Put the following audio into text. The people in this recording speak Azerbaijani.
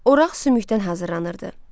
Oraq sümbükdən hazırlanırdı.